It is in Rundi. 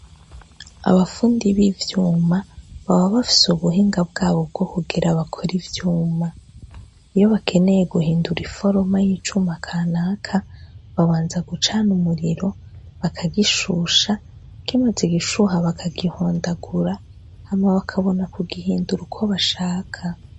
Abapfundiye b'ivyuma baba bafise ubuhinga bwabo bwo kugera bakora ivyuma iyo bakeneye guhindura iforoma y'icuma akanaka babanza gucana umuriro bakagishusha kimaze igishuha bakagihondagura hama w' akabona ku gihindura uko bashaka.